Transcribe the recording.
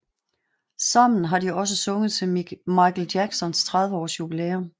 Sammen har de også sunget til Michael Jacksons 30 års jubilæum